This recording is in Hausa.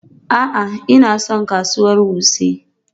A'a, Ina son kasuwar Wuse.